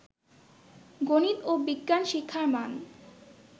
গনিত ও বিজ্ঞান শিক্ষার মান